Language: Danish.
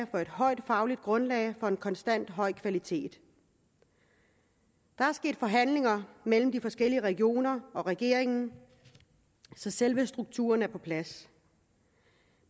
for et højt fagligt grundlag for en konstant høj kvalitet der er sket forhandlinger mellem de forskellige regioner og regeringen så selve strukturen er på plads